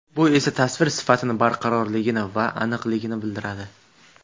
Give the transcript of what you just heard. Bu esa tasvir sifatini barqarorligini va aniqligini bildiradi.